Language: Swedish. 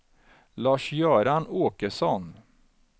Lars-Göran Åkesson